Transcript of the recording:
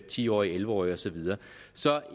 ti årige og elleve årige og så videre så